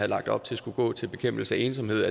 lagt op til skulle gå til bekæmpelse af ensomhed